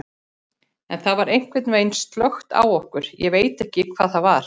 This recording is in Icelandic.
En það var einhvern veginn slökkt á okkur, ég veit ekki hvað það var.